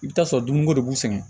I bɛ t'a sɔrɔ dumuniko de b'u sɛgɛn